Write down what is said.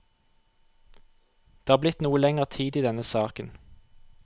Det har blitt noe lenger tid i denne saken.